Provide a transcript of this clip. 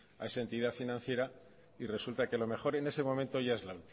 a esa entidad financiera y resulta que lo mejor en ese momento ya es la